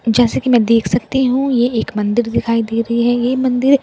जैसा की मैं देख सकती हूँ ये एक मंदिर दिखाई दे रही हैं ये मंदिर --